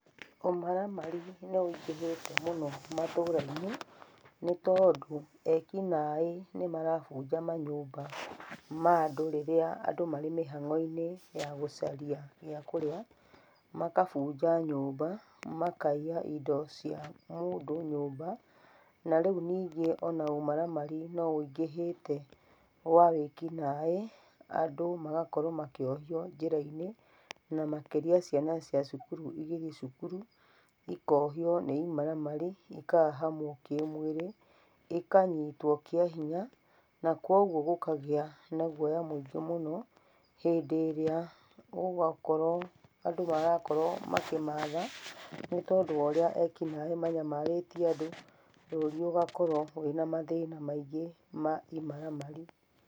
Ũmaramari nĩ wĩingĩhĩte mũno matũra-inĩ, nĩ tondũ ekinaĩ nĩ marabunja manyũmba ma andũ rĩrĩa andũ marĩ mĩhang'o-inĩ ya gũcaria gĩa kũrĩa, magabunja nyũmba, makaiya indo cia mũndũ nyũmba. Na rĩu ningĩ ona ũmaramari no wĩingĩhĩte wa wĩkinaĩ andũ magakorwo makĩohio njĩra-inĩ na makĩria ciana cia cukuru igĩthiĩ cukuru ikohio nĩ imaramari, ikahahamwo kĩmĩrĩ, ĩkanyitwo kĩa hinya. Na koguo gũkagĩa na guoya mũingĩ mũno hĩndĩ ĩrĩa gũgakorwo andũ marakorwo makĩmatha nĩ tondu wa ũrĩa ekinaĩ manyamarĩtie andũ, bũrũri ũgakorwo wĩna mathĩna maingĩ ma imaramari.